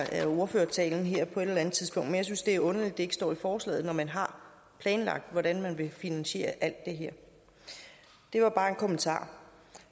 af ordførertalen her på et eller andet tidspunkt men jeg synes det er underligt at det ikke står i forslaget når man har planlagt hvordan man vil finansiere alt det her det var bare en kommentar